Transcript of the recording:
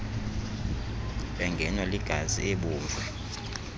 engenwa ligazi ubovu